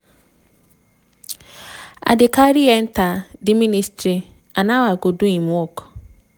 im dey carry enta di ministry and how im go do im work.